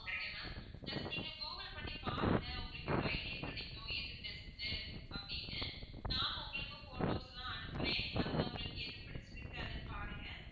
okay ma'am just நீங்க google பண்ணி பாருங்க உங்களுக்கே ஒரு idea கிடைக்கும் எது best அப்படின்னு நானும் உங்களுக்கு photos லாம் அனுப்புறேன் அதுல உங்களுக்கு எது புடிச்சிருக்கு அதுன்னு பாருங்க